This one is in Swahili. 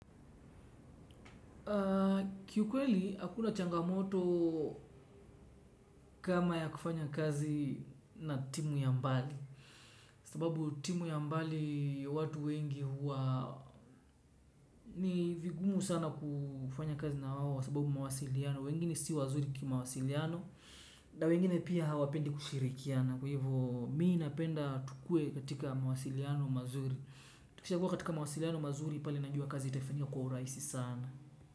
Kiukweli hakuna changamoto kama ya kufanya kazi na timu ya mbali. Sababu timu ya mbali watu wengi huwa ni vigumu sana kufanya kazi na wawo. Sababu mawasiliano, wengine si wazuri kima wasiliano. Na wengine pia hawapendi kushirikiana. Kuhivo mii napenda tukue katika mawasiliano mazuri. Tukisha kuwa katika mawasiliano mazuri pali najua kazi itafanywa kwa uraisi sana.